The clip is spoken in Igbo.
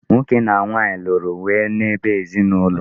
Nwoke na nwanyị lụrụ wee n'ebe ezinụlọ.